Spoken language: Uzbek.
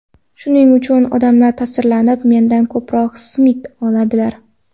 Shuning uchun odamlar ta’sirlanib, mendan ko‘proq simit oladilar.